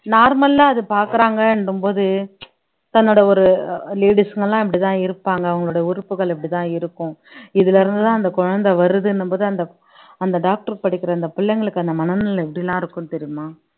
normal ஆ அது பார்க்கிறாங்கன்ற போது தன்னோட ஒரு ladies ங்க எல்லாம் இப்படித்தான் இருப்பாங்க அவங்களோட உறுப்புகள் இப்படித்தான் இருக்கும் இதில இருந்துதான் அந்த குழந்தை வருதுன்னும்போது அந்த அந்த doctor படிக்கிற அந்த பிள்ளைங்களுக்கு அந்த மனநிலை எப்படி எல்லாம் இருக்கும் தெரியுமா